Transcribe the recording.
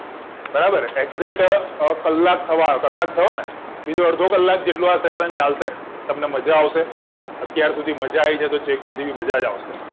બરાબર acjact કલાક થવા આયો કલાક થયો ને બીજો અડધો કલાક જેટલો આ sasion ચાલશે તમને માજા આવશે અત્યાર સુધી મજા આવી છે તો છેક સુધી બી મજા જ આવશે